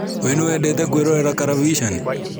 Wee niwendete kwĩrorera karavisheni?